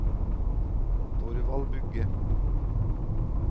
Thorvald Bugge